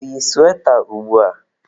O yi suweta ugbua?